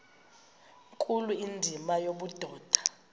nkulu indima yobudoda